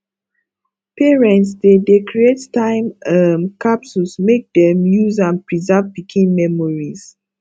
parents dey dey create time um capsules make dem use am preserve pikin memories